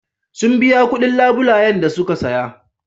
Sun biya kuɗin labulayen da suka saya.